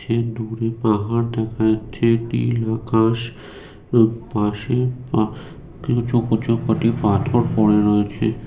পাহাড় দেখা যাচ্ছে নীল আকাশ এবং পাশে আ- কিছু কিছু কটি পাথর পরে রয়েছে।